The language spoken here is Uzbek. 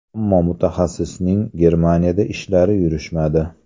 Ammo mutaxassisning Germaniyada ishlari yurishmadi.